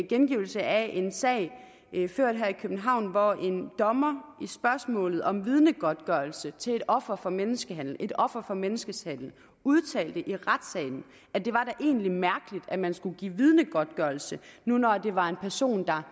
gengivelse af en sag ført her i københavn hvor en dommer i spørgsmålet om vidnegodtgørelse til et offer for menneskehandel et offer for menneskehandel udtalte i retssalen at det var da egentlig mærkeligt at man skulle give vidnegodtgørelse nu når det var en person der